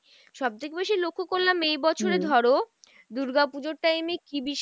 সবথেকে বেশি লক্ষ্য করলাম এই বছরে ধরো, দুর্গা পুজোর time এ কী বিশাল